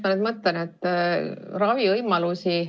Ma nüüd mõtlen, et ravivõimalusi ...